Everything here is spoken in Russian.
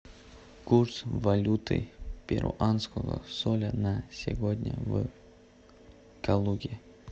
курс валюты перуанского соля на сегодня в калуге